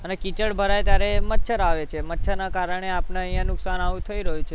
કીચડ ભરાય ત્યારે એ મચ્છર આવે, મચ્છરના કારણે આપણે અહીંયા નુકસાન આવું થઇ રહ્યું છે